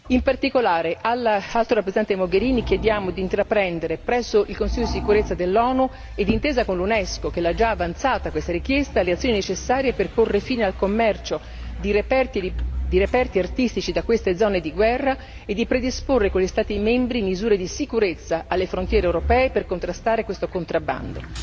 In particolare all'Alto rappresentate Mogherini chiediamo di intraprendere, presso il Consiglio di sicurezza dell'ONU e d'intesa con l'Unesco che ha già avanzato questa richiesta, le azioni necessarie per porre fine al commercio di reperti artistici da queste zone di guerra e di predisporre con gli Stati membri misure di sicurezza alle frontiere europee per contrastare questo contrabbando.